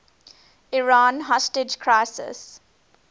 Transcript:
iran hostage crisis